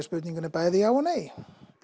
spurningunni er bæði já og nei